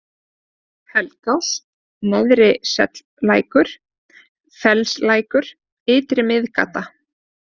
Helgás, Neðri-Sellækur, Fellslækur, Ytri-Miðgata